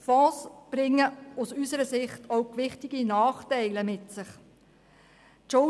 Wir sind der Meinung, dass Fonds auch gewichtige Nachteile mit sich bringen.